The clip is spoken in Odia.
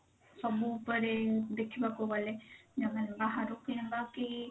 ସବୁ ଉପରେ ଦେଖିବାକୁ ଗଲେ ଯଦି ବାହାରୁ କିଣିବା କି